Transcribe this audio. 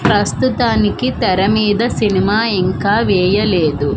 ప్రస్తుతానికి తెర మీద సినిమా ఇంకా వేయలేదు.